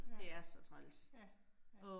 Ja. Ja, ja